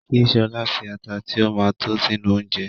Kí Ṣọlá fi ata tí ó ma tó sínú oúnjẹ